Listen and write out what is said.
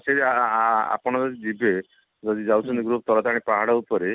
ସେ ଆ ଆ ଆ ଆପଣ ଯଦି ଯିବେ ଯଦି ଯାଉଛନ୍ତି ତାରାତାରିଣୀ ପାହାଡ ଉପରେ